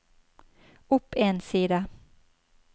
opp en side